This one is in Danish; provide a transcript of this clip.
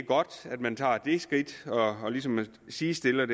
godt at man tager det skridt og ligesom sidestiller